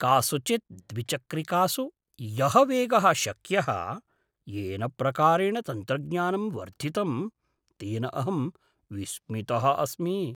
कासुचित् द्विचक्रिकासु यः वेगः शक्यः, येन प्रकारेण तन्त्रज्ञानं वर्धितं तेन अहं विस्मितः अस्मि।